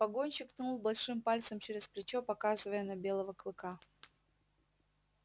погонщик ткнул большим пальцем через плечо показывая на белого клыка